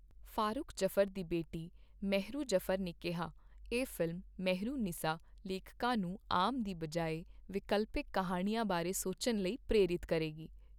ਫਾਰੁਖ ਜਫਰ ਦੀ ਬੇਟੀ ਮਹਿਰੂ ਜਫਰ ਨੇ ਕਿਹਾ, ਇਹ ਫ਼ਿਲਮ ਮਹਿਰੂਨਿਸਾ ਲੇਖਕਾਂ ਨੂੰ ਆਮ ਦੀ ਬਜਾਏ ਵਿਕਲਪਿਕ ਕਿਹਾਣੀਆਂ ਬਾਰੇ ਸੋਚਣ ਲਈ ਪ੍ਰੇਰਿਤ ਕਰੇਗੀ।